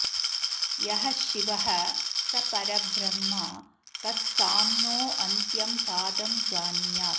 यः शिवः स परं ब्रह्म तत्साम्नोऽन्त्यं पादं जानीयात्